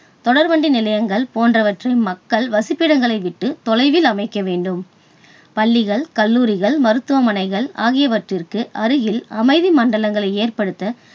தொடர்வண்டி நிலையங்கள் போன்றவற்றை மக்கள் வசிப்பிடங்களை விட்டு தொலைவில் அமைக்க வேண்டும். பள்ளிகள் கல்லூரிகள் மருத்துவமனைகள் ஆகியவற்றிற்கு அருகில் அமைதி மண்டலங்களை ஏற்படுத்த